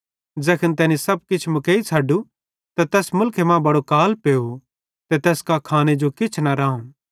ज़ैखन तैनी सब किछ मुकेइ छ़ड्डू त तैस मुलखे मां बड़ो काल पेव ते तैस कां खाने जो किछ न राहुं